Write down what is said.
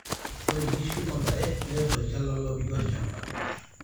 Ore ngishu ondare keret tolchala lopiki olchamba.